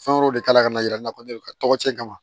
Fɛn wɛrɛw de kala ka na yira nakɔle ka tɔgɔ ci kama